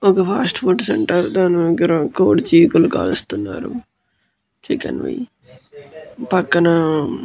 ఇదొక fast food centre దాని దగ్గర కోడి చీకులు కాలుస్తున్నారు చికెన్ వి పక్కన --